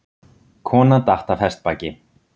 Kona datt af hestbaki